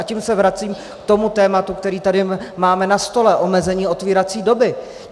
A tím se vracím k tomu tématu, které tady máme na stole, omezení otvírací doby.